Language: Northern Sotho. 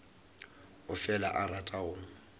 o fela a rata go